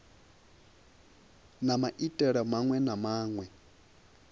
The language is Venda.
na maitele maṅwe na maṅwe